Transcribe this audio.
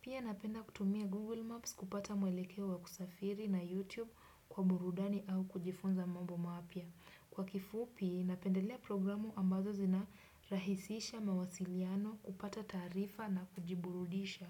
Pia napenda kutumia Google Maps kupata mwelekeo wa kusafiri na YouTube kwa burudani au kujifunza mambo mapya. Kwa kifupi, napendelea programu ambazo zinarahisisha mawasiliano kupata taarifa na kujiburudisha.